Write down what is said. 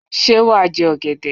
Sé wàá je ògèdè